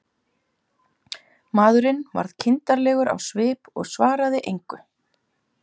Maðurinn varð kindarlegur á svip og svaraði engu.